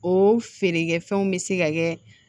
O feerekɛ fɛnw bɛ se ka kɛ